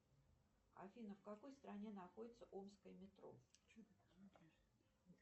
афина в какой стране находится омское метро